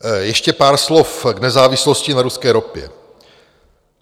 Ještě pár slov k nezávislosti na ruské ropě.